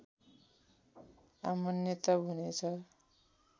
अमान्य तब हुनेछ